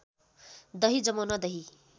दही जमाउन दही